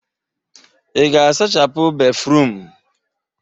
Ị ga-asachapụ béfrụm?